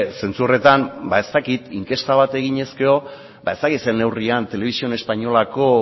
zentzu horretan ba ez dakit inkesta bat eginez gero ba ez dakit ze neurrian televisión españolako